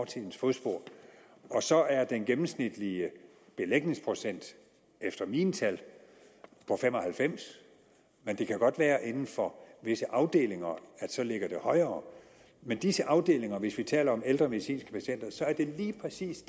til ens fodspor så er den gennemsnitlige belægningsprocent efter mine tal på fem og halvfems men det kan godt være at inden for visse afdelinger ligger det højere men disse afdelinger hvis vi taler om ældre medicinske patienter er lige præcis